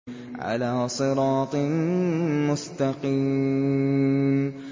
عَلَىٰ صِرَاطٍ مُّسْتَقِيمٍ